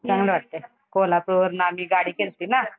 चांगलं वाटतंय. कोल्हापूरला आम्ही गाडी केल्ती ना